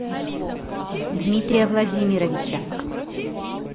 дмитрия владимировича